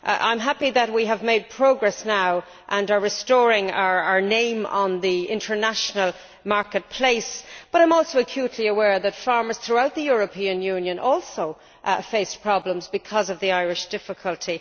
I am happy that we have made progress now and are restoring our name on the international marketplace, but I am also acutely aware that farmers throughout the European Union also face problems because of the Irish difficulty.